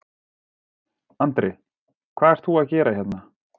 Andri: Hvað ert þú að gera hérna?